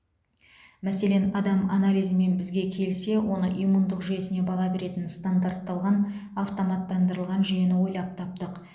мәселен адам анализімен бізге келсе оның иммундық жүйесіне баға беретін стандартталған автоматтандырылған жүйені ойлап таптық